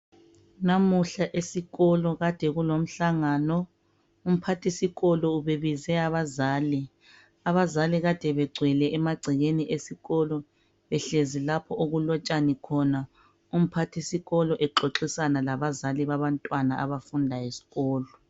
Namuhla esikolo kadekulo mhlangano umphathisikolo ubebize abazali ,abazali bebegcwele emagcekeni esikolo behlezi lapho okulotshani khona, umphathisikolo exoxisana labazali babantwana abafunda esikolo.